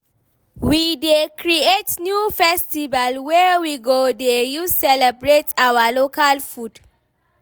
We dey create new festival wey we go dey use celebrate our local food.